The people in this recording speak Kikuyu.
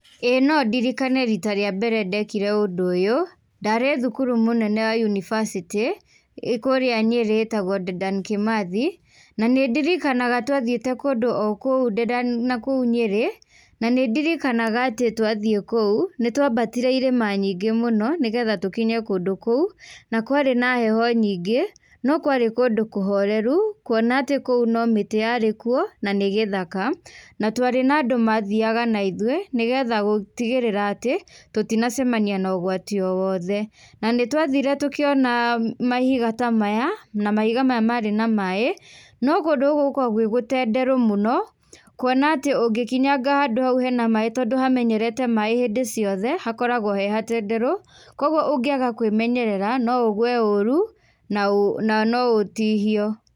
ĩĩ no ndirikane hĩndĩ ya mbere ndekire ũndũ ũyũ, ndarĩ thukuru mũnene wa yunibacĩtĩ ĩĩ kũrĩa Nyeri itagwo Dedan Kimathi na nĩ ndirikanaga twathiĩte kũndũ o kũu nakũu Nyĩrĩ, na nĩ ndirikanaga atĩ twathiĩ kũu nĩ twambatire irĩma nyingĩ mũno nĩgetha tũkinye kũndu kũu na kwarĩ na heho nyingĩ, no kwarĩ kũndũ kũhoreru kuona atĩ kũu no mĩtĩ yarĩkuo na nĩ gĩthaka. Na twarĩ na andũ mathiaga naithuĩ nĩgetha gũtigĩrĩra atĩ tutinacemania na ũgwati o wothe. Na nĩ twathire tíũkiona mahiga ta maya na mahiga maya marĩ na maĩ, no kũndũ gũkũ gũkoragũo gwĩ gũtenderũ mũno, kũona atĩ ũngĩkinyaga handũ hena maĩ tondũ hamenyerete maĩ hĩndĩ ciothe hakoragwo he hatenderũ. Kwoguo ũngĩaga kwĩmenyerera no ũgwe ũru na no ũtihio.